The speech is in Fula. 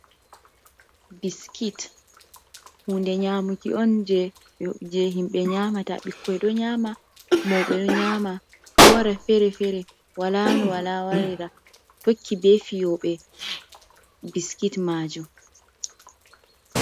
Biskit, hunde nyamuki on je himɓe nyamata ɓikkoi ɗo nyama, mauɓe ɗo nyama, ɗo wara fere fere walano wala warira, tokki be fiyoɓe biskit majum.